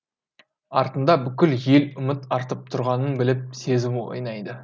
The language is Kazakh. артында бүкіл ел үміт артып тұрғанын біліп сезімі ойнайды